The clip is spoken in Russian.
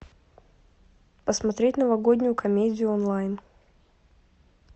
посмотреть новогоднюю комедию онлайн